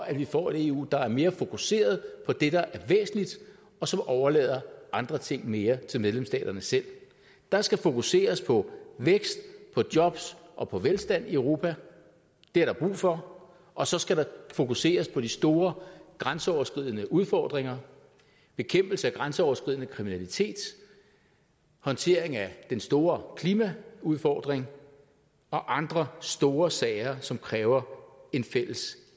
at vi får et eu der er mere fokuseret på det der er væsentligt og som overlader andre ting mere til medlemsstaterne selv der skal fokuseres på vækst på job og på velstand europa det er der brug for og så skal der fokuseres på de store grænseoverskridende udfordringer bekæmpelse af grænseoverskridende kriminalitet håndtering af den store klimaudfordring og andre store sager som kræver en fælles